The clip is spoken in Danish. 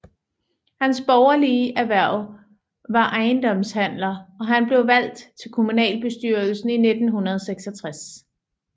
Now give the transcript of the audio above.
Hans borgerlige erhverv var ejendomshandler og han blev valgt til kommunalbestyrelsen i 1966